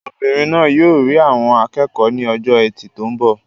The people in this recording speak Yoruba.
Obìnrin náà yóò rí àwọn akẹ́kọ̀ọ́ ní ọjọ́ Ẹtì tó ń bọ̀.